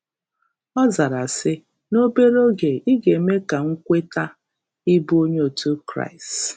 Ọ zara sị: “N'obere oge ị ga-eme ka m kweta ịbụ onye otu Kraịst”